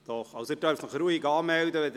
Sie dürfen sich ruhig anmelden.